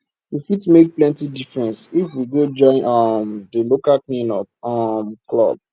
we fit make plenty difference if we go join um di local cleanup um club